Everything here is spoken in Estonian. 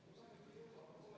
V a h e a e g